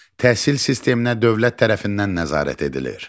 Təhsil sisteminə dövlət tərəfindən nəzarət.